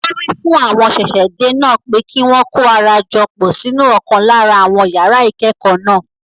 Wọn wí fún àwọn ṣẹ̀ṣẹ̀-dé náà pé kí wọn kó ara jọ pọ̀ sínú ọ̀kan lára àwọn yàrá ìkẹ́kọ̀ọ́ náà.